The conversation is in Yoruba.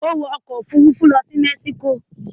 Ó wọ ọkọ̀-òfurufú lọ Mexico?